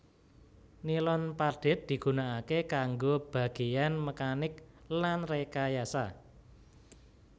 Nilon padhet digunakaké kanggo bagéyan mekanik lan rekayasa